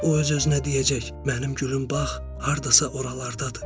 O öz-özünə deyəcək: Mənim gülüm bax, hardasa oralardadır.